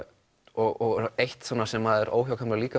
og eitt sem er óhjákvæmilegt